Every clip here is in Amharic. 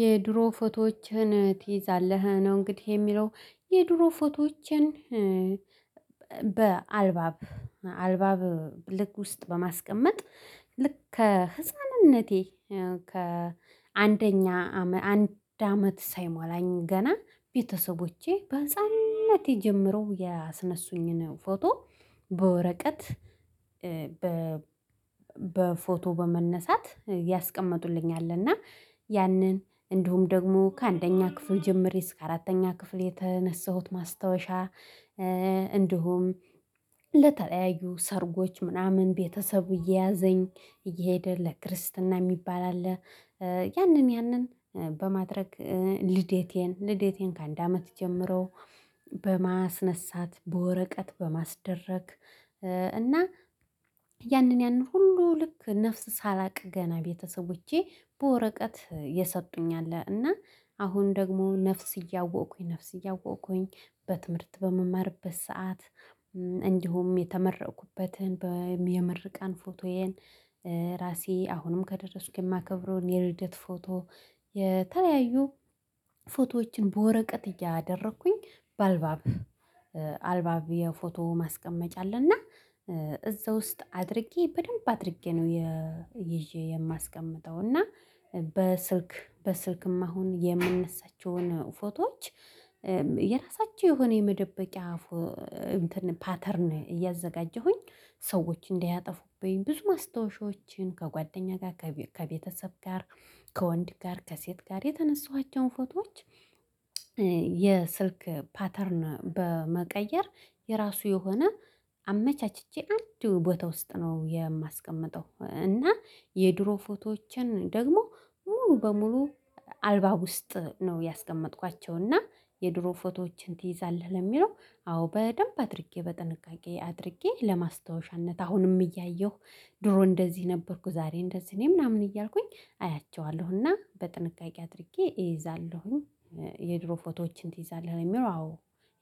የድሮ ፎቶዎችህን ትይዛለህ? ነው እንግዲህ የሚለው የድሮ ፎቶዎችን በአልባብ አልባብ ልክ ውስጥ በማስቀመጥ ልክ ከህፃንነቴ ከአንደኛ አንድ አመት ሳይሟላኝ ገና ቤተሰቦቼ በህፃንነቴ የጀመረው የአስነሱኝን ፎቶ በወረቀት በ በፎቶ በመነሳት ያስቀመጡልኛል እና ያንን እንዲሁም ደግሞ ከአንደኛ ክፍል ጀምሬ እስከ አራተኛ ክፍል የተነሳሁት ማስታወሻ እንዲሁም ለተለያዩ ሰርጎች ምናምን ቤተሰብ እየያዘኝ እየሄደ ለክርስትና የሚባል አለ ያንን ያንን በማድረግ ልደቴን ልደቴን ከአንድ አመት ጀምሮ በማስነሳት በወረቀት በማስደረግ እና ያንን ያንን ሁሉ ልክ ነፍስ ሳላቅ ገና ቤተሰቦቼ በወረቀት የሰጡኝ አለ እና አሁን ደግሞ ነፍስ እያወቁኝ ነፍስ እያወቁኝ በትምህርት በምማርበት ሰዓት እንዲሁም የተመረኩበትን በምርቃን ፎቶዬን ራሴ አሁንም ከደረስኩ የማከብረውን የልደት ፎቶ የተለያዩ ፎቶዎችን በወረቀት እያደረኩኝ በአልባብ አልባብ የፎቶ ማስቀመጫ አለና እዛ ውስጥ አድርጌ በደንብ አድርጌ ነው ይዤ የማስቀምጠው እና በስልክ በስልክም አሁን የምነሳቸውን ፎቶዎች የራሳቸው የሆነ የመደበቂያ ፓተርን እያዘጋጀሁኝ ሰዎች እንዲያጠፉብኝ ብዙ ማስታወሻዎችን ከጓደኛ ጋር ከቤተሰብ ጋር ከወንድ ጋር ከሴት ጋር የተነሳኋቸውን ፎቶዎች የስልክ ፓተርን በመቀየር የራሱ የሆነ አመቻችቼ አንዱ ቦታ ውስጥ ነው የማስቀምጠው እና የድሮ ፎቶዎችን ደግሞ ሙሉ በሙሉ አልባብ ውስጥ ነው ያስቀመጥኳቸው እና የድሮ ፎቶዎችን ትይዛለህ ለሚለው አዎ በደንብ አድርጌ በጥንቃቄ አድርጌ ለማስታወሻነት አሁንም እያየሁ ድሮ እንደዚህ ነበርኩ ዛሬ እንደዚህ እኔ ምናምን እያልኩኝ አያቸዋለሁና በጥንቃቄ አድርጌ እይዛለሁኝ የድሮ ፎቶዎችን ትይዛለህ የሚለው አዎ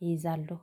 ይይዛሉ